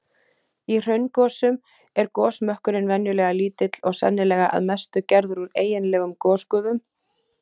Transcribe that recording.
Í hraungosum er gosmökkurinn venjulega lítill og sennilega að mestu gerður úr eiginlegum gosgufum.